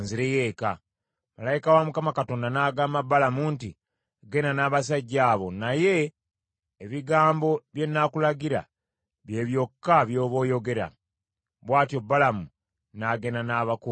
Malayika wa Mukama Katonda n’agamba Balamu nti, “Genda n’abasajja abo, naye ebigambo bye nnaakulagira bye byokka by’oba oyogera.” Bw’atyo Balamu n’agenda n’abakungu ba Balaki.